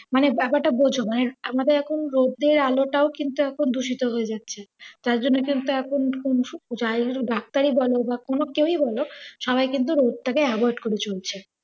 মানে ব্যাপারটা বোঝো, মানে আমাদের এখন রোদের আলটাও কিন্তু এখন দূষিত হয়ে যাচ্ছে। যার জন্যে কিন্তু এখন ডাক্তারে বলে বা কোনও কেওই বলো সবাই কিন্তু রোদটা কে avoid করে চলছে।